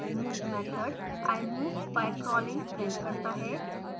move method i move by crawling prints करता है